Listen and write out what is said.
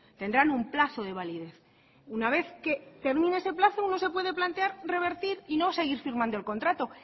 tendrán un plazo de validez una vez que termine ese plazo uno se puede plantear revertir y no seguir firmando el contrato